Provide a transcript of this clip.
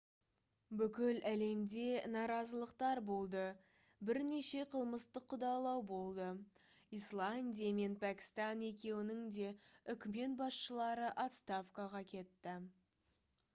бүкіл әлемде наразылықтар болды бірнеше қылмыстық қудалау болды исландия мен пәкістан екеуінің де үкімет басшылары отставкаға кетті